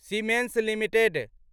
siemens limited